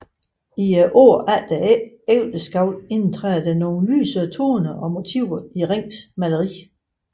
I årene efter ægteskabet indtræder der nogle lysere toner og motiver i Rings maleri